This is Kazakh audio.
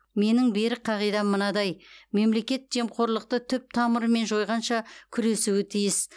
менің берік қағидам мынадай мемлекет жемқорлықты түп тамырымен жойғанша күресуі тиіс